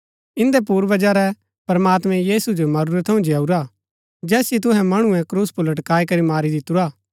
इन्दै पूर्वजा रै प्रमात्मैं यीशु जो मरूरै थऊँ जिआऊरा जैसिओ तुहै मणुऐ क्रूस पुर लटकाई करी मारी दितुरा